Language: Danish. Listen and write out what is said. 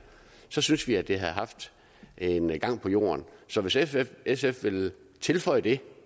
så synes vi det havde haft en gang på jorden så hvis sf sf vil tilføje det